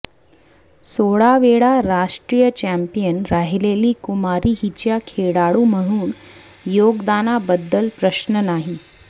सोळा वेळा राष्ट्रीय चॅम्पियन राहिलेली कुमारी हिच्या खेळाडू म्हणून योगदानाबद्दल प्रश्न नाही